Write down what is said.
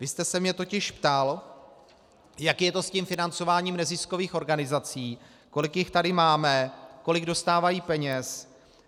Vy jste se mě totiž ptal, jak je to s tím financováním neziskových organizací, kolik jich tady máme, kolik dostávají peněz.